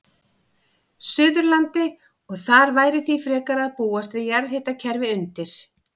Suðurlandi, og þar væri því frekar að búast við jarðhitakerfi undir.